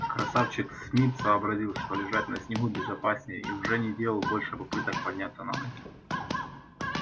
красавчик смит сообразил что лежать на снегу безопаснее и уже не делал больше попыток подняться на ноги